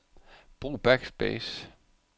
Brug backspace.